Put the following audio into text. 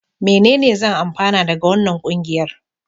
Menene zan amfana daga wannan ƙungiyar?